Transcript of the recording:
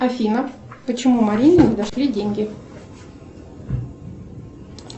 афина почему марине не дошли деньги